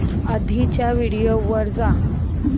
आधीच्या व्हिडिओ वर जा